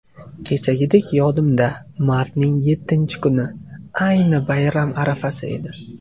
Kechagidek yodimda, martning yettinchi kuni, ayni bayram arafasi edi.